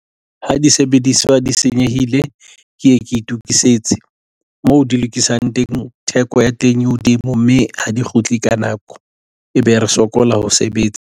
Ha disebediswa di senyehile ke ye ke itokisetse moo di lokisang teng theko ya teng e hodimo, mme ha di kgutle ka nako, e be re sokola ho sebetsa.